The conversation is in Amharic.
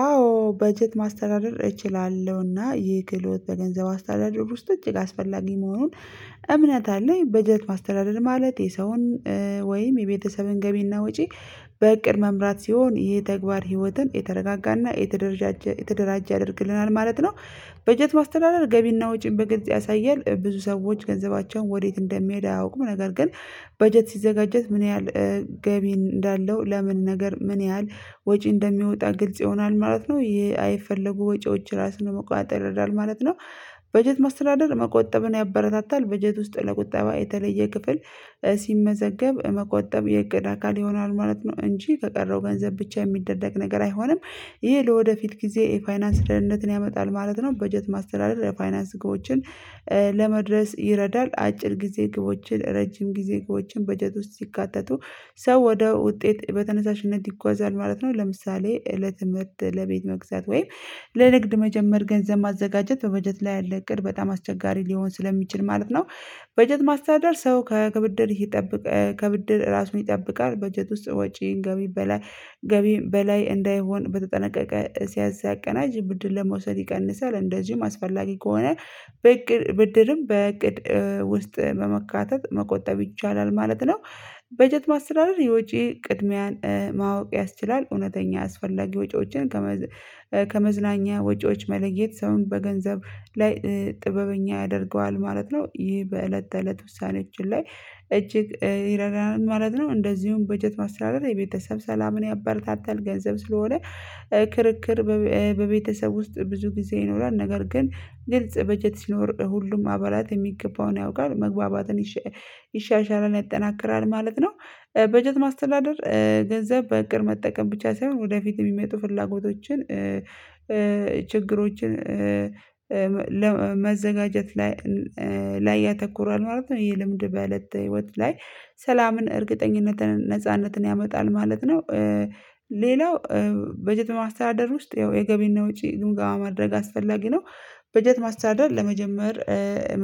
አዎ በጀት ማስተዳደር እችላለሁ እና ይህ ክህሎት በገንዘብ አስተዳደር ውስጥ እጅግ አስፈላጊ መሆኑን እምነት አለኝ። በጀት ማስተዳደር ማለት የሰውን ወይም የቤተሰብን ገቢና ወጪ በእቅድ መምራት ሲሆን ይሄ ተግባር ህይወትን የተረጋጋና የተደራጀ ያደርግልናል ማለት ነው። በጀት ማስተዳደር ገቢና ወጪን በግልጽ ያሳየል ብዙ ሰዎች ገንዘባቸውን ወዴት እንደሚሄድ አያውቁም ነገር ግን በጀት ሲዘጋጀት ምን ያህል ገቢ እንዳለው ለምን ነገር ምን ያህል ወጪ እንደሚወጣ ግልጽ ይሆናል ማለት ነው ይሄ አይፈለጉ ወጪዎች ራስን መቆጣጠር ይረዳል ማለት ነው። በጀት ማስተዳደር መቆጠብን ያበረታታል በጀት ውስጥ ለቁጠባ የተለየ ክፍል ሲመዘገብ መቆጠብ የእቅድ አካል ይሆናል ማለት ነው እንጂ ከቀረው ገንዘብ ብቻ የሚደረግ ነገር አይሆንም። ይሄ ለወደፊት ጊዜ የፋይናንስ ደህንነትን ያመጣል ማለት ነው። በጀት ማስተዳደር የፋይናንስ ግቦችን ለመድረስ ይረዳል አጭር ጊዜ ግቦችን ረጅም ጊዜ ግቦችን በጀት ውስጥ ሲካተቱ ሰው ወደ ውጤት በተነሳሽነት ይጓዛል ማለት ነው። ለምሳሌ እለት ለቤት መግዛት ወይም ለንግድ መጀመር ገንዘብ ማዘጋጀት በበጀት ላይ ያለ እቅድ በጣም አስቸጋሪ ሊሆን ስለሚችል ማለት ነው። በጀት ማስተዳደር ሰው ከብድር ይጠብቅ ከብድር ራሱን ይጠብቃል በጀት ውስጥ ወጪ ገቢ በላይ ገቢ በላይ እንዳይሆን በተጠናቀቀ ሲያዝ ሲያቀናጅ ብድር ለመውሰድ ይቀንሳል እንደዚሁም አስፈላጊ ከሆነ ብድርም በእቅድ ውስጥ በመካተት መቆጠብ ይቻላል ማለት ነው። በጀት ማስተዳደር የውጪ ቅድሚያን ማወቅ ያስችላል እውነተኛ አስፈላጊ ወጪዎችን ከመዝናኛ ወጪዎች መለየት ሰውን በገንዘብ ላይ ጥበበኛ ያደርገዋል ማለት ነው። ይሄ በእለት ተእለት ውሳኔችን ላይ እጅግ ይረዳናል ማለት ነው። እንደዚሁም በጀት ማስተዳደር የቤተሰብ ሰላምን ያበረታታል ገንዘብ ስለሆነ ክርክር በቤተሰብ ውስጥ ብዙ ጊዜ ይኖራል ነገር ግን ግልጽ በጀት ሲኖር ሁሉም አባላት የሚገባውን ያውቃል መግባባትን ይሻሻላል ይጠነክራል ማለት ነው። በጀት ማስተዳደር ገንዘብ በእቅድ መጠቀም ብቻ ሳይሆን ወደፊት የሚመጡ ፍላጎቶችን ችግሮችን ለመዘጋጀት ላይ ላይ ያተኩራል ማለት ነው ይሄ ልምድ በለት ህይወት ላይ ሰላምን እርግጠኝነትን ነጻነትን ያመጣል ማለት ነው። ሌላው በጀት ማስተዳደር ውስጥ የገቢና ወጪ ግምገማ ማድረግ አስፈላጊ ነው። በጀት ማስተዳደር ለመጀመር